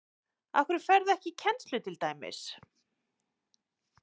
Af hverju ferðu ekki í kennslu til dæmis?